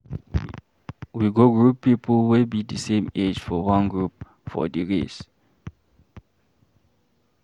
We go group pipo wey be di same age for one group for di race.